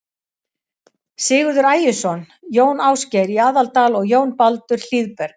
Sigurður Ægisson, Jón Ásgeir í Aðaldal og Jón Baldur Hlíðberg.